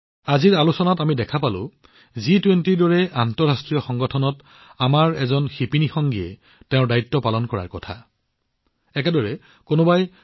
আজিৰ আলোচনাত আমি দেখিলো যে জি২০ৰ দৰে এক আন্তঃৰাষ্ট্ৰীয় অনুষ্ঠানত আমাৰ এগৰাকী শিপিনী সতীৰ্থই তেওঁৰ দায়িত্ব বুজি পাইছে আৰু ইয়াক পূৰণ কৰিবলৈ আগবাঢ়ি আহিছে